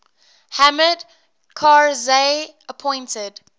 hamid karzai appointed